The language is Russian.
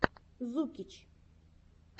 зукич